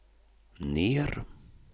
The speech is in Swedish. ner